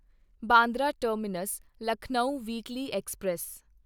Bandra terminus Lucknow weekly express